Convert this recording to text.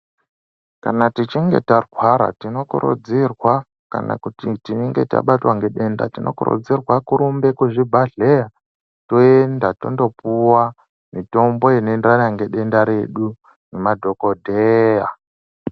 Kana tichinge tarwara tinokurudzirwa kana tichinge tabatwa ngedenda tinokurudzirwa kurumba kuzvibhedhleya toenda tondopuwa mitombo rinoenderana nedenda redu nemadhokoteya.